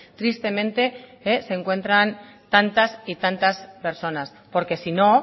tristemente se encuentran tantas y tantas personas porque si no